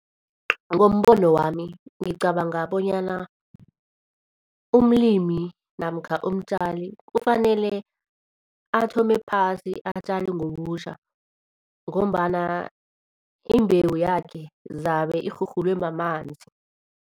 Ngombono wami, ngicabanga bonyana umlimi namkha umtjali kufanele athome phasi atjale ngobutjha ngombana imbewu yakhe zabe irhurhulwe mamanzi.